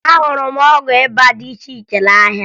Ahụrụ m ọgwụ ịba dị iche iche n'ahịa